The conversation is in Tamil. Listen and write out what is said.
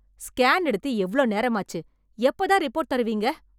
ஸ்கேன் எடுத்து எவ்ளோ நேரமாச்சு. எப்ப தான் ரிப்போர்ட் தருவீங்க?